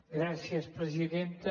gràcies presidenta